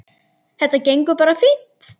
Þetta gengur bara fínt.